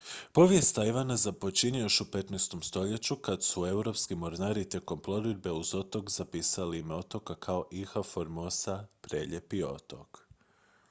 povijest tajvana započinje još u 15. stoljeću kad su europski mornari tijekom plovidbe uz otok zapisali ime otoka kao ilha formosa prelijepi otok